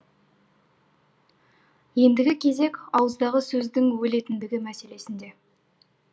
ендігі кезек ауыздағы сөздің өлетіндігі мәселесінде